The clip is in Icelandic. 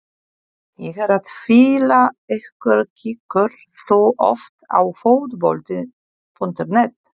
Ég er að fýla ykkur Kíkir þú oft á Fótbolti.net?